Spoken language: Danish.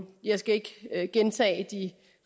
jeg skal ikke gentage de